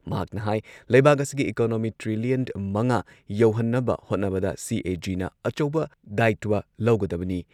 ꯃꯍꯥꯛꯅ ꯍꯥꯏ ꯂꯩꯩꯕꯥꯛ ꯑꯁꯤꯒꯤ ꯏꯀꯣꯅꯣꯃꯤ ꯇ꯭ꯔꯤꯂꯤꯌꯟ ꯃꯉꯥ ꯌꯧꯍꯟꯅꯕ ꯍꯣꯠꯅꯕꯗ ꯁꯤ.ꯑꯦ.ꯖꯤꯅ ꯑꯆꯧꯕ ꯗꯥꯏꯇ꯭ꯋ ꯂꯧꯒꯗꯕꯅꯤ ꯫